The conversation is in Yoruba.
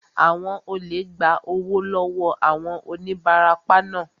Àwọn olè gba owó lọ wọọ àwọn onibarapa naa